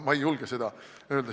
Ma ei julge seda öelda.